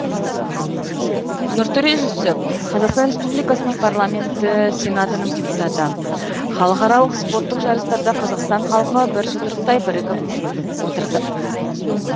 нұртөре жүсіп қазақстан республикасының парламенті сенатының депутаты халықаралық спорттық жарыстарда қазақстан халқы бір жұдырықтай бірігіп отырды